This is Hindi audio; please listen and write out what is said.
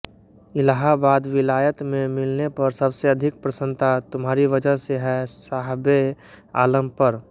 इलाहाबाद विलायत में मिलने पर सबसे अधिक प्रसन्नता तुम्हारी वजह से है साहबे आलम पर